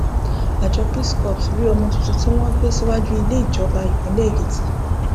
àjọ peace corps rí ọmọ tuntun tí wọn gbé síwájú ilé ìjọba ìpínlẹ èkìtì